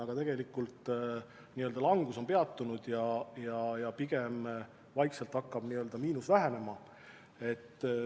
Samas tegelikult on langus peatunud ja pigem vaikselt hakkab miinus vähenema.